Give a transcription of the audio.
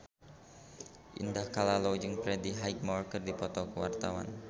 Indah Kalalo jeung Freddie Highmore keur dipoto ku wartawan